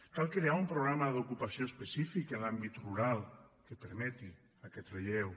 cal crear un programa d’ocupació específic en l’àmbit rural que permeti aquest relleu